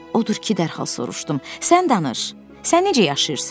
Odur ki, dərhal soruşdum, sən danış, sən necə yaşayırsan?